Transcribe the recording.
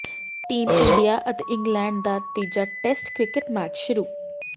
team India ਅਤੇ England ਦਾ ਤੀਜਾ ਟੈਸਟ ਕ੍ਰਿਕਟ ਮੈਚ ਸ਼ੁਰੂ